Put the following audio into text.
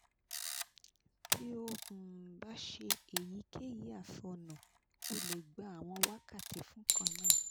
ti o um ba se èyíkeyì o le gba àwọn wákàtí fun nkan náà